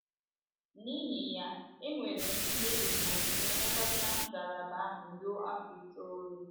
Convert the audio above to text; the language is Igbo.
N’ihi ya, enwere m ihe ùgwù nke ilekọta ngalaba ahụ ruo afọ itoolu.